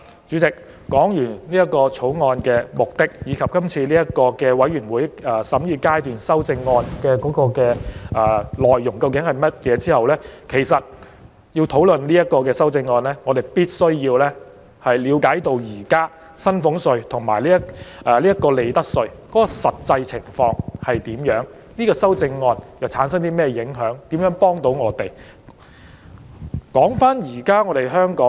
主席，我已就《條例草案》的目的及全體委員會審議階段修正案的內容作出簡單提述，接下來會討論修正案，但在我開始討論前，有必要讓大家先了解現時薪俸稅及利得稅的實際情況，以及修正案對我們所產生的影響及對市民有何幫助。